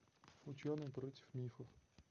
ученый против мифов